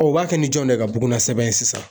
u b'a kɛ ni jɔn de ka bugunna sɛbɛn sisan